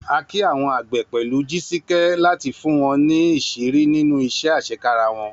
A kí àwọn àgbẹ̀ pẹ̀lú Jisike láti fún wọn ní ìṣírí nínú iṣẹ́ àṣekára wọn.